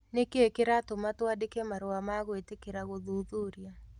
Nĩ kĩĩ kĩratũma twandĩke marũa ma gwĩtĩkĩra gũthuthuria?"